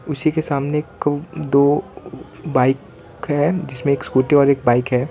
उसी के सामने को दो बाइक है जिसमें स्कूटी और एक बाइक है।